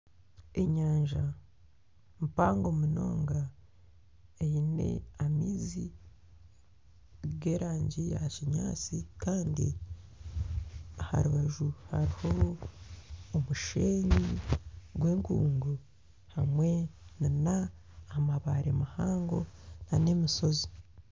Enyanja mpango munonga eine amaizi g'erangi ya kinyaatsi kandi aha rubaju hariho omushenyi gw'enkungu hamwe n'amabare mahango n'emishozi.